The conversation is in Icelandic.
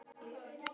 Hún er komin